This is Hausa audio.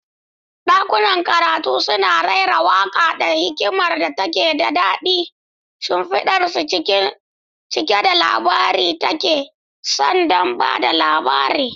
Dakunan karatu suna raira waƙa da hikimar da ta daɗe, rumfunansu cike da labaran da ake son ba da labari.